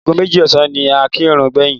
Ago méjì ọ̀sán ni a kírun gbẹ̀yìn.